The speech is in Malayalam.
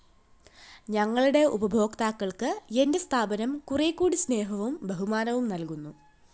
ഞങ്ങളുടെ ഉപഭോക്താക്കള്‍ക്ക് എന്റെ സ്ഥാപനം കുറെക്കൂടി സ്‌നേഹവും ബഹുമാനവും നല്‍കുന്നു